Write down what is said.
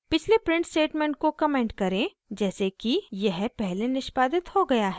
पिछले print statement को comment करें जैसे कि यह पहले निष्पादित हो गया है